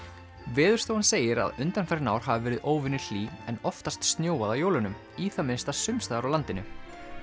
Veðurstofan segir að undanfarin ár hafi verið óvenju hlý en oftast snjóað á jólunum í það minnsta sums staðar á landinu